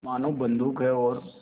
मानो बंदूक है और